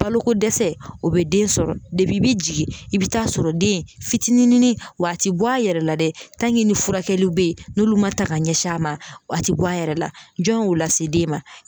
Balokodɛsɛ o bɛ den sɔrɔ i bɛ jigin i bɛ taa sɔrɔ den fitininin wa ti bɔ a yɛrɛ la dɛ ni furakɛli bɛ yen n'olu ma ta ka ɲɛsin a ma a tɛ bɔ a yɛrɛ la jɔn y'o lase den ma.